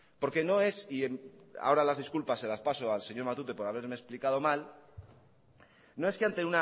porque no es y a hora las disculpas se las paso al señor matute por haberme explicado mal no es que ante